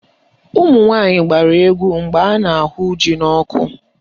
Ụmụnwaanyị gbara egwu mgbe a na-ahụ ji n'ọkụ